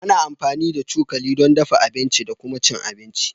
Ana amfani da cokali don dafa abinci da kuma cin abinci